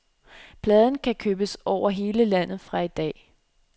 Pladen kan købes over hele landet fra i dag, .